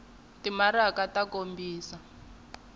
wa timaraka ku kombisa ku